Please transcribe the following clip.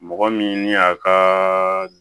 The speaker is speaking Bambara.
Mɔgɔ min ni a ka